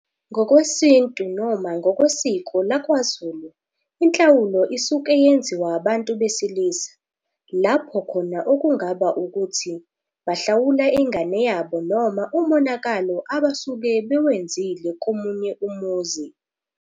Ngokwesintu noma ngokwesiko lakwaZulu inhlawulo isuke yenziwa abantu besilisa, lapho khona okungaba ukuthi bahlawula ingane yabo noma umonakalo abasuke bewenzile komunye umuzi.